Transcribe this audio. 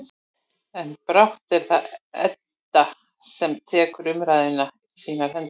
En brátt er það Edda sem tekur umræðuna í sínar hendur.